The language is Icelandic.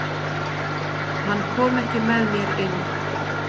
Hann kom ekki með mér inn.